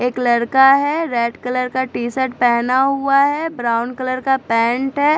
एक लड़का है रेड कलर का टी- शर्ट पहना हुआ है ब्राउन कलर का पैंट है।